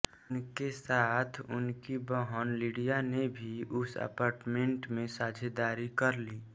उनके साथ उनकी बहन लिडीया ने भी उस अपार्टमेंट में साझेदारी कर ली